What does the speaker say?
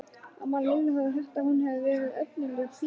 Amma Lillu hafði heyrt að hún hefði verið efnilegur píanóleikari.